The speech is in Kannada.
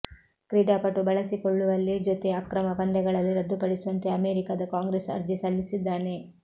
ಕ್ರೀಡಾಪಟು ಬಳಸಿಕೊಳ್ಳುವಲ್ಲಿ ಜೊತೆ ಅಕ್ರಮ ಪಂದ್ಯಗಳಲ್ಲಿ ರದ್ದುಪಡಿಸುವಂತೆ ಅಮೇರಿಕಾದ ಕಾಂಗ್ರೆಸ್ ಅರ್ಜಿ ಸಲ್ಲಿಸಿದ್ದಾನೆ